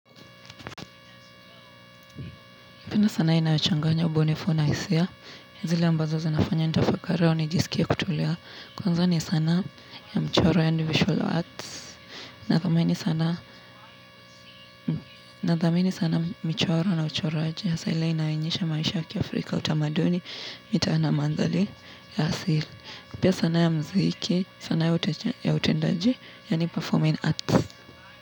Napenda sana inayochanganya ubinifu na hisia. Zile ambazo zinafanya nitafakari au nijiskie kutulia. Kwanza, ni sanaa ya mchoro yaani visual arts. Nadhamini sana michoro na uchoraji. Hasa ile inayoonyesha maisha ya kiafrika utamaduni, mitaa na maanthali ya asili. Pia sanaa ya muziki, sanaa ya utendaji, yaani performing arts.